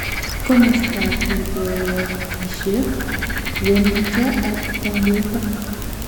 Komostap ripotishek, Wendito, ak tangoita